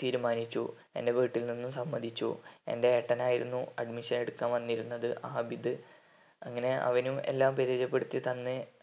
തീരുമാനിച്ചു എന്റെ വീട്ടിൽ നിന്ന് സമ്മതിച്ചു എന്റെ ഏട്ടൻ ആയിരുന്നു admission എടുക്കാൻ വന്നിരുന്നത് ആബിദ് അങ്ങനെ അവനും എല്ലാം പോരിജയ പെടുത്തി തന്ന്